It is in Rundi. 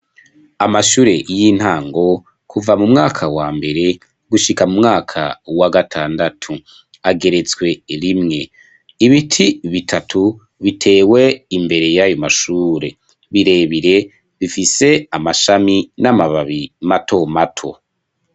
Amashure y'intango kuva mu mwaka wa mbere gushika mu mwaka wa gatandatu ageretswe rimwe ibiti bitatu, bitewe imbere y'ayo mashure birebire bifise amashami n'amababi mato mato.